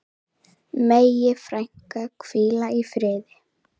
Megi frænka hvíla í friði.